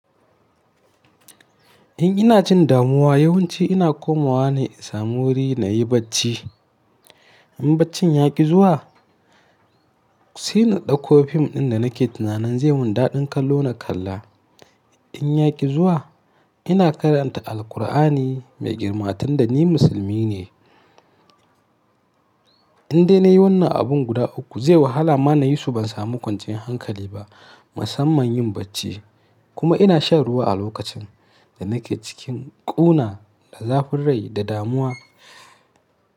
In ina jin damuwa yawanci ina komawa ne in samu wuri na yi bacci. In baccin ya ƙi zuwa sai na ɗauko fim ɗin da nake tunanin zai mun daɗin kalo na kalla. In ya ƙi zuwa ina karanta Alkur'ani mai girma tunda ni musulmi ne. In dai na yi wannan abin guda uku zai wahala ma na yi su ban samu kwanciyar hankali ba musamman yin bacci. Kuma ina shan ruwa a lokacin da nake cikin ƙuna da zafin rai da damuwa.